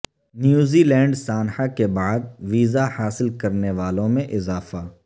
نیوزی لینڈسانحہ کے بعد ویزہ حاصل کرنے والوں میں اضافہ